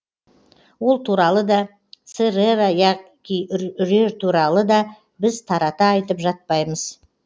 ол туралы да церера яки үрер туралы да біз тарата айтып жатпаймыз